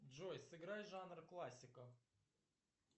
джой сыграй жанр классика